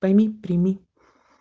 пойми прими